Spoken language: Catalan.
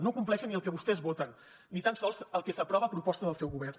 no compleixen ni el que vostès voten ni tan sols el que s’aprova a proposta del seu govern